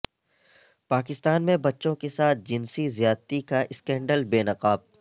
پاکستان میں بچوں کے ساتھ جنسی زیادتی کا اسکینڈل بے نقاب